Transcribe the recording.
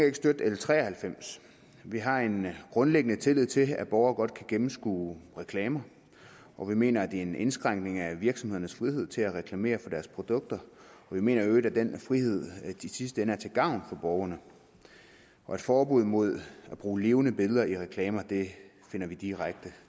ikke støtte l tre og halvfems vi har en grundlæggende tillid til at borgere godt kan gennemskue reklamer og vi mener er en indskrænkning af virksomhedernes frihed til at reklamere for deres produkter og vi mener i øvrigt at den frihed i sidste ende er til gavn for borgerne forbuddet mod at bruge levende billeder i reklamer finder vi direkte